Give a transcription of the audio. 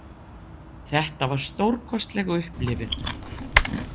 Þetta var stórkostlegt upplifun.